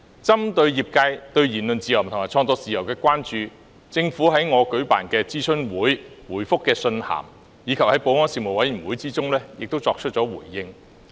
針對業界對言論自由和創作自由的關注，政府在我舉辦的諮詢會、回覆的信函，以及在保安事務委員會也作出了回應。